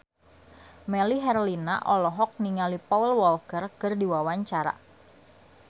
Melly Herlina olohok ningali Paul Walker keur diwawancara